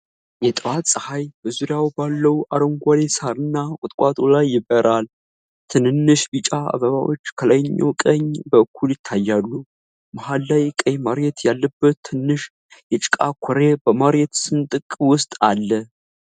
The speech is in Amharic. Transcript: የጠዋት ፀሐይ በዙሪያው ባለው አረንጓዴ ሣርና ቁጥቋጦ ላይ ይበራል። ትንንሽ ቢጫ አበባዎች ከላይኛው ቀኝ በኩል ይታያሉ። መሃል ላይ ቀይ መሬት ያለበት ትንሽ የጭቃ ኩሬ በመሬት ስንጥቅ ውስጥ አለ።